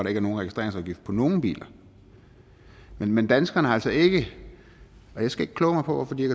er nogen registreringsafgift på nogen biler men danskerne har altså ikke og jeg skal ikke kloge mig på hvorfor de